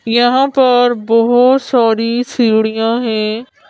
यहाँ पर बहुत सारी सीढ़ियां हैं।